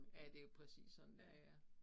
Ja det jo præcis sådan det er ja